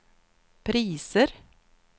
priser